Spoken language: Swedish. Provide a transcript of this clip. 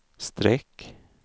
streck